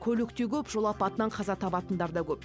көлік те көп жол апатынан қаза табатындар да көп